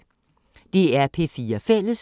DR P4 Fælles